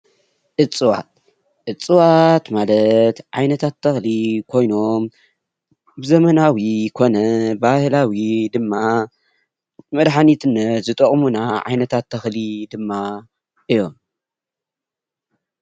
እፅዋት:‑ እፅዋት ማለት ዓይነታት ተክሊ ኮይኖም ብዘበናዊ ኮነ ብባህላዊ ድማ ንመድሓኒትነት ዝጠቅሙና ዓይነታት ተክሊ ድማ እዮም፡፡